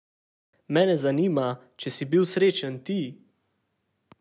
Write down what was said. Mene zanima, če si bil srečen ti.